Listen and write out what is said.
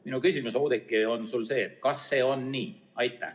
Minu küsimus sulle, Oudekki, on see: kas see on nii?